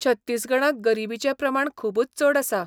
छत्तीसगडांत गरिबीचें प्रमाण खूबच चड आसा.